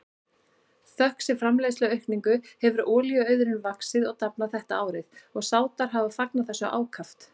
Þökk sé framleiðsluaukningu hefur olíuauðurinn vaxið og dafnað þetta árið og Sádar hafa fagnað þessu ákaft.